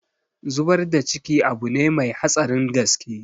Zubar da ciki abune mai hatsarin gaske